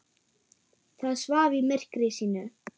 Það svaf í myrkri sínu.